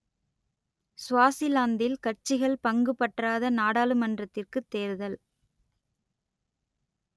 சுவாசிலாந்தில் கட்சிகள் பங்குபற்றாத நாடாளுமன்றத்திற்குத் தேர்தல்